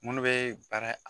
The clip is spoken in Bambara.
Munnu be baara